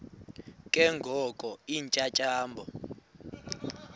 ke ngoko iintyatyambo